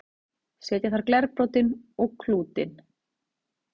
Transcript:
setja þarf glerbrotin og klútinn